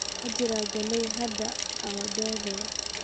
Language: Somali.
Ma jiro gelid haddii aad daahdo